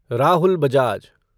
Rahul Bajaj